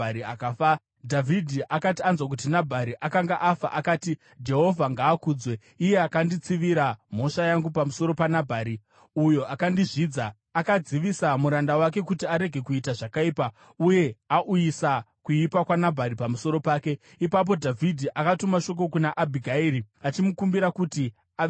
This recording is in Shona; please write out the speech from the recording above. Dhavhidhi akati anzwa kuti Nabhari akanga afa, akati, “Jehovha ngaakudzwe, iye akanditsivira mhosva yangu pamusoro paNabhari uyo akandizvidza. Akadzivisa muranda wake kuti arege kuita zvakaipa uye auyisa kuipa kwaNabhari pamusoro pake.” Ipapo Dhavhidhi akatuma shoko kuna Abhigairi, achimukumbira kuti ave mukadzi wake.